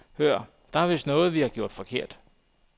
Hør, der er vist noget, vi har gjort forkert.